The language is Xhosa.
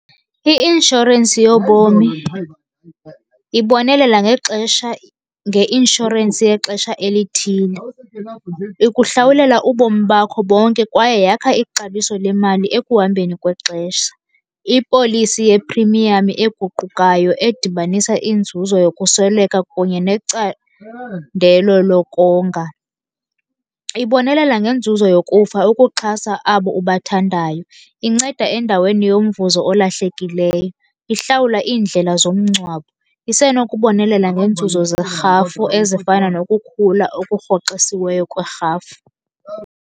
I-inshorensi yobomi ibonelela ngexesha, ngeinshorensi yexesha elithile. Ikuhlawulela ubomi bakho bonke kwaye yakha ixabiso lemali ekuhambeni kwexesha. Ipolisi ye-premium eguqukayo edibanisa inzuzo yokusweleka kunye necandelo lokonga. Ibonelela ngenzuzo yokufa ukuxhasa abo ubathandayo, inceda endaweni yomvuzo olahlekileyo, ihlawula iindlela zomngcwabo, isenokubonelela ngeenzuzo zerhafu ezifana nokukhula okurhoxisiweyo kwerhafu.